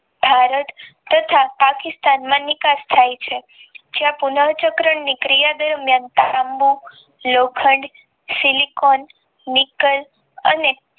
ભારત તથા પાકિસ્તાન માં નિકાસ થઈ છે જ્યાં પુનઃ ચક્ર ની ક્રિયા દરમિયાન તાંબુ લોખંડ સિલીકોન નિકન નિકાં અને